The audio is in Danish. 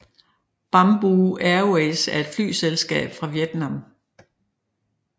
Bamboo Airways er et flyselskab fra Vietnam